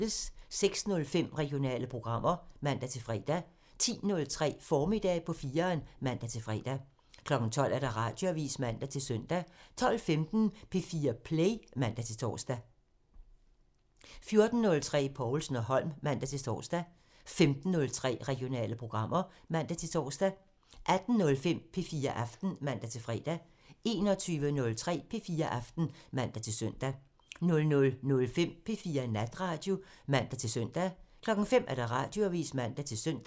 06:05: Regionale programmer (man-fre) 10:03: Formiddag på 4'eren (man-fre) 12:00: Radioavisen (man-søn) 12:15: P4 Play (man-tor) 14:03: Povlsen & Holm (man-tor) 15:03: Regionale programmer (man-tor) 18:05: P4 Aften (man-fre) 21:03: P4 Aften (man-søn) 00:05: P4 Natradio (man-søn) 05:00: Radioavisen (man-søn)